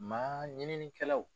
Maa ɲininikɛlaw